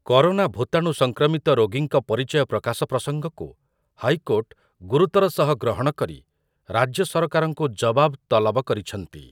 Corona ଭୂତାଣୁ ସଂକ୍ରମିତ ରୋଗୀଙ୍କ ପରିଚୟ ପ୍ରକାଶ ପ୍ରସଙ୍ଗକୁ ହାଇକୋର୍ଟ ଗୁରୁତର ସହ ଗ୍ରହଣ କରି ରାଜ୍ୟ ସରକାରଙ୍କୁ ଜବାବ ତଲବ କରିଛନ୍ତି ।